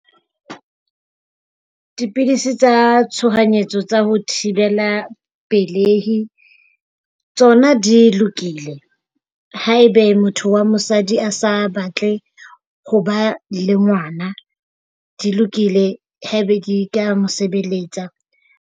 Dipidisi tsa tshohanyetso tsa ho thibela pelei tsona di lokile. Haebe motho wa mosadi a sa batle ho ba le ngwana, di lokile. Hee Back ka mo sebeletsa.